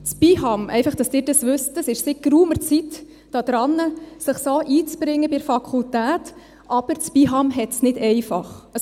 Das BIHAM – einfach, damit Sie dies wissen – ist seit geraumer Zeit daran, sich bei der Fakultät so einzubringen, aber das BIHAM hat es nicht einfach.